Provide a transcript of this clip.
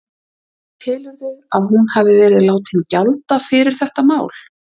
Telurðu að hún hafi verið látin gjalda fyrir þetta mál?